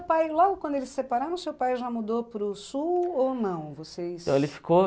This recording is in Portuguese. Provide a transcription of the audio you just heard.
pai, logo quando eles se separaram, o seu pai já mudou para o sul ou não? Vocês... ele ficou